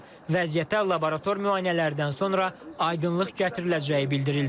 Vəziyyətə laborator müayinələrdən sonra aydınlıq gətiriləcəyi bildirildi.